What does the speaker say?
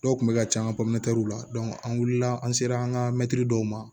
Dɔw kun bɛ ka ca an ka la an wulila an sera an ka mɛtiri dɔw ma